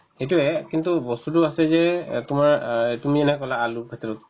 সেইটোয়ে কিন্তু বস্তুতো আছে যে এহ্ তোমাৰ অ তুমি এনেকে ক'লা আলু